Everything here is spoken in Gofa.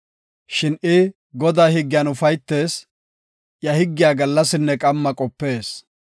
Shin I Godaa higgiyan ufaytees; iya higgiya gallasinne qamma qopees.